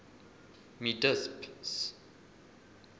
mi disp s